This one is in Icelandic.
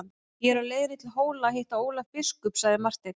Ég er á leiðinni til Hóla að hitta Ólaf biskup, sagði Marteinn.